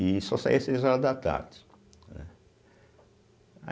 E só saia às seis horas da tarde, né.